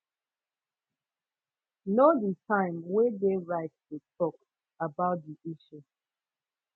know di time wey de right tu talk about di issue